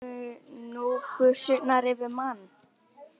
Svona komu nú gusurnar yfir mann.